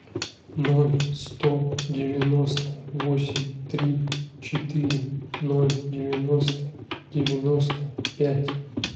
ноль сто девяносто восемь три четыре ноль девяносто девяносто пять